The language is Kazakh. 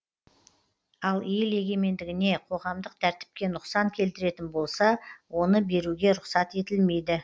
ал ел егемендігіне қоғамдық тәртіпке нұқсан келтіретін болса оны беруге рұқсат етілмейді